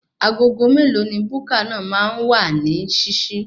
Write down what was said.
Aago mélòó ni buka náà máa wà ní ṣíṣí?